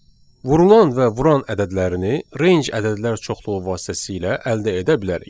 Vurulan və vuran ədədlərini range ədədlər çoxluğu vasitəsilə əldə edə bilərik.